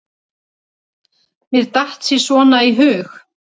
Mér datt sí svona í hug.